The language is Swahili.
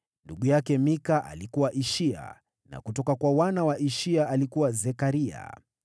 Ndugu yake Mika: alikuwa Ishia; na kutoka kwa wana wa Ishia: alikuwa Zekaria.